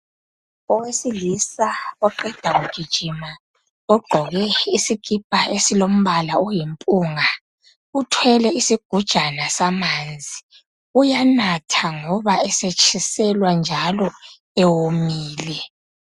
Owesilisa oqeda kugijima ogqoke isikipha esilombala oyimpunga , uthwele isugujana samanzi. Uyanatha ngoba esetshiselwa njalo ewomile.